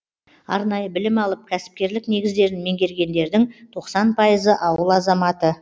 арнайы білім алып кәсіпкерлік негіздерін меңгергендердің тоқсан пайызы ауыл азаматы